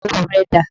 Ẹrù rẹ dà?